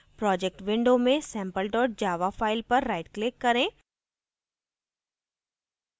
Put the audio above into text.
projects window में sample java file पर right click करें